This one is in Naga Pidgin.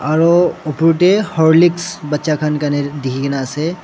aro upur tey horlicks bacha khan karne dikhi ke na ase.